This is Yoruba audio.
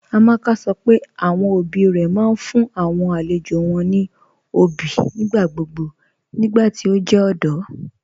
Amaka sọ́ pé awọn ọbí rẹ̀ máa n fún awọn alẹ̀jọ́ wọn ní ọbí nigbàgbogbo nigbàtí o jẹ ọdọ.